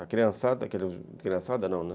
A criançada, aqueles... Criançada não, né?